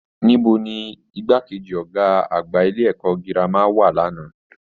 Níbo ni igbákejì Ọgá àgbà ilé ẹ̀kọ́ gírámà wà l'ana?